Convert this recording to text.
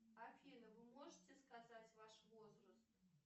афина вы можете сказать ваш возраст